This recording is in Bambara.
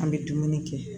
An bɛ dumuni kɛ